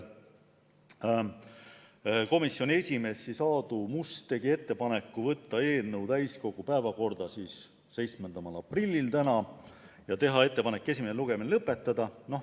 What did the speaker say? Komisjoni esimees Aadu Must tegi ettepaneku võtta eelnõu täiskogu päevakorda 7. aprilliks ehk tänaseks ja teha ettepanek esimene lugemine lõpetada.